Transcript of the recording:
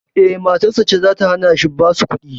Eh, matarsa ce zata hanashi basu kuɗi